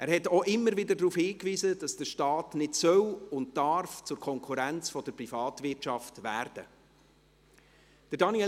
Er hat auch immer wieder darauf hingewiesen, dass der Staat nicht zur Konkurrenz der Privatwirtschaft werden soll und darf.